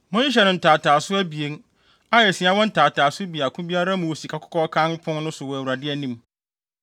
Monhyehyɛ no ntaataaso abien, a asia wɔ ntaataaso baako biara mu wɔ sikakɔkɔɔ kann pon no so wɔ Awurade anim.